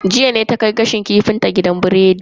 Jiya ne ta kai gashin kifin ta gidan biredi.